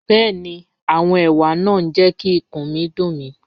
Bẹẹni, awọn ewa naa n jẹ ki ikun mi dun mi.